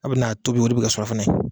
A bɛ na tobi o de bɛ kɛ surafana ye.